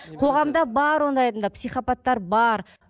қоғамда бар ондай адамдар психопаттар бар